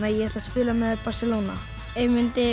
ég ætla að spila með Barcelona ef ég mundi